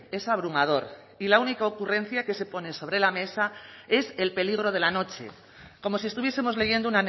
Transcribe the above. es abrumador y la única ocurrencia que se pone sobre la mesa es el peligro de la noche como si estuviesemos leyendo